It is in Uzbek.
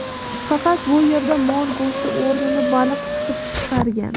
Faqat bu yerda mol go‘shti o‘rnini baliq siqib chiqargan.